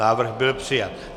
Návrh byl přijat.